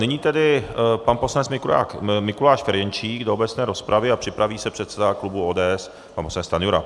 Nyní tedy pan poslanec Mikuláš Ferjenčík do obecné rozpravy a připraví se předseda klubu ODS pan poslanec Stanjura.